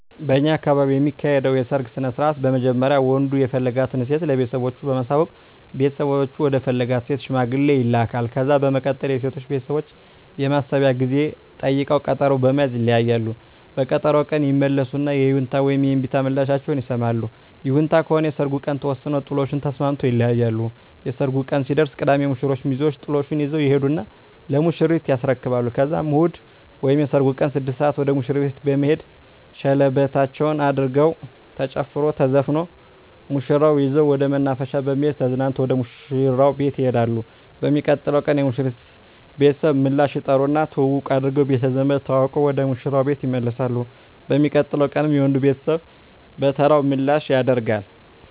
በእኛ አካባቢ የሚካሄደዉ የሰርግ ስነስርአት በመጀመሪያ ወንዱ የፈለጋትን ሴት ለቤተሰቦቹ በማሳወቅ ቤተሰቦቹ ወደ ፈለጋት ሴት ሽማግሌ ይላካል። ከዛ በመቀጠል የሴቶቹ ቤተሰቦች የማሰቢያ ጊዜ ጠይቀዉ ቀጠሮ በመያዝ ይለያያሉ። በቀጠሮዉ ቀን ይመለሱና የይሁንታ ወይም የእምቢታ ምላሻቸዉን ይሰማሉ። ይሁንታ ከሆነ የሰርጉ ቀን ተወስኖ ጥሎሹን ተስማምተዉ ይለያያሉ። የሰርጉ ቀን ሲደርስ ቅዳሜ የሙሽሮቹ ሚዜወች ጥሎሹን ይዘዉ ይሄዱና ለሙሽሪት ያስረክባሉ ከዛም እሁድ ወይም የሰርጉ ቀን 6 ሰአት ወደ ሙሽሪት ቤት በመሄድ ሸለበታቸዉን አድርገዉ ተጨፍሮ ተዘፍኖ ሙሽራዋን ይዘዉ ወደ መናፈሻ በመሄድ ተዝናንተዉ ወደ ሙሽራዉ ቤት ይሄዳሉ። በሚቀጥለዉ ቀን የሙሽሪት ቤተሰብ ምላሽ ይጠሩና ትዉዉቅ አድርገዉ ቤተዘመድ ተዋዉቀዉ ወደ ሙሽራዉ ቤት ይመለሳሉ። በሚቀጥለዉ ቀንም የወንዱ ቤተሰብ በተራዉ ምላሽ ያደ